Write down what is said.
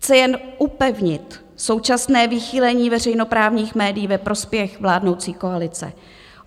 Chce jen upevnit současné vychýlení veřejnoprávních médií ve prospěch vládnoucí koalice.